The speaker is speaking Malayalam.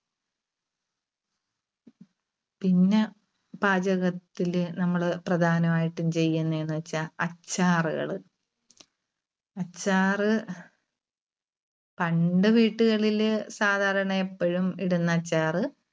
പിന്നെ പാചകത്തില് നമ്മള് പ്രധാനമായിട്ടും ചെയുന്നേന്നുവെച്ചാ അച്ചാറുകള്. അച്ചാർ പണ്ട് വീട്ടുകളില് സാധാരണ എപ്പഴും ഇടുന്ന അച്ചാർ.